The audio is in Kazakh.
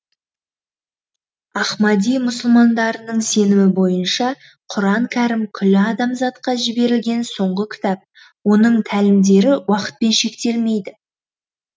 ахмади мұсылмандарының сенімі бойынша құран кәрім күллі адамзатқа жіберілген соңғы кітап оның тәлімдері уақытпен шектелмейді